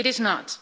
It is not.